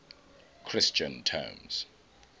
christian terms